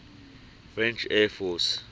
french air force